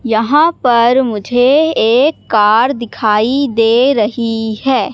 यहां पर मुझे एक कार दिखाई दे रही है।